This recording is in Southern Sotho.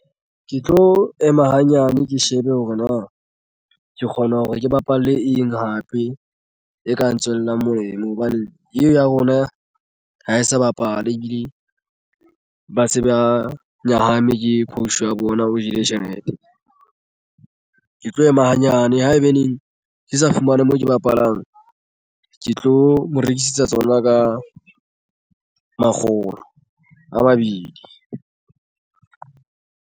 Ke tlo ema hanyane ke shebe hore na ke kgona hore ke bapale eng hape e ka tswelang molemo hobane e ya rona ha e sa bapale ebile ba se ba nyahame ke coach wa bona o jele tjhelete. Ke tlo ema hanyane haebaneng ke sa fumane moo ke bapalang ke tlo mo rekisetsa tsona ka makgolo a mabedi.